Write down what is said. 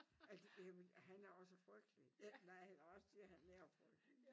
Altså ja men han er også frygtelig nej eller også så bliver han frygtelig